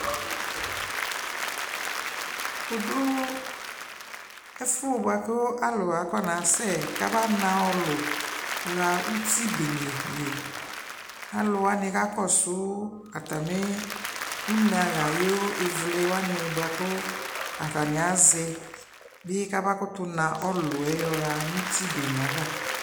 Wʋdʋ ɛfʋ bʋakʋ k'alʋ akɔna sɛ kaba na ɔlʋ ɣa utbene li Alʋwanɩ kakɔsʋ atamɩ uneaɣayʋ ɩvlɩwanɩ bʋakʋ atanɩ azɛ bɩ kama kʋtʋ na ɔlʋɛ yɔɣa uti bene ava